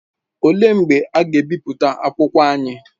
Olee mgbe ha ga-ebipụta akwụkwọ anyị?